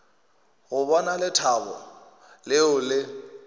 go bona lethabo leo le